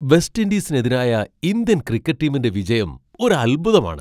West ഇൻഡീസിനെതിരായ Indian cricket ടീമിന്റെ വിജയം ഒരു അത്ഭുതമാണ്.